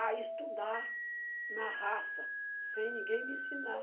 a estudar na raça, sem ninguém me ensinar.